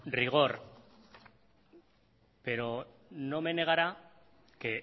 rigor pero no me negará que